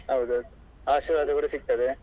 ಹೌದೌದು ಆಶೀರ್ವಾದ ಕೂಡ ಸಿಗ್ತದೆ.